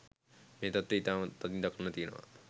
මේ තත්ත්වය ඉතාම තදින් දක්නට තියෙනවා.